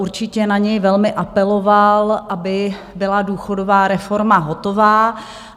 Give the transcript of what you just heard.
Určitě na něj velmi apeloval, aby byla důchodová reforma hotová.